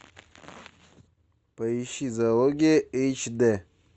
поищи зоология эйч дэ